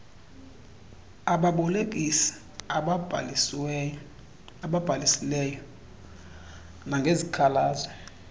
ababolekisi ababhalisileyo nangezikhalazo